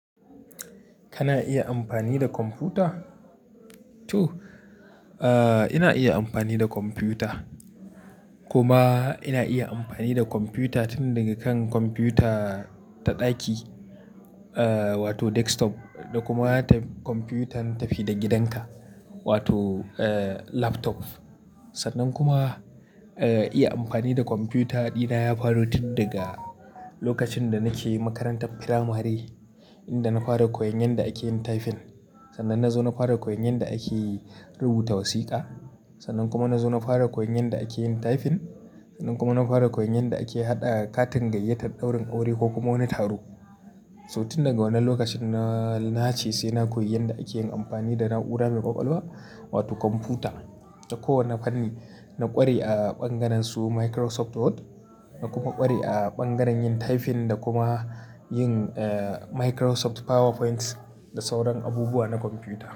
Kana iya amfani da kwamfuta? To, eh ina iya amfani da kwamfuta. Kuma ina iya amfani da kwamfuta tun daga kan kwamfuta ta ɗaki, wato desktop. Da kuma ta kwamfutan tafi-da-gidanka, laptop. Sannan kuma, iya amfani da kwamfuta dina ya faro tun daga lokacin da nake makarantar firamare, inda na fara koyon yadda ake yin tyfin. Sannan na zo na fara koyon yadda ake rubuta wasiƙa. Sannan kuma na zo na fara koyon yadda ake yin tyfin. Sannan kuma na fara koyon yadda ake haɗa katin gayyatar ɗaurin aure ko kuma wani taro. So tun daga wannan lokacin na, na ce sai na koyi yadda ake yin amfani da na'ura mai ƙwaƙwalwa wato kwamfuta. Da kowane fanni na ƙware a ɓangaren su Microsoft Word, na kuma ƙware a ɓangaren yin tyfin da kuma yin eh Microsoft PowerPoint da sauran abubuwa na kwamfuta.